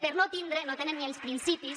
per no tindre no tenen ni els principis